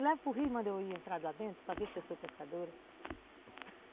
Me leva para o rio e manda eu ir entrar lá dentro para ver se eu sou pescadora!